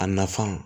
A nafan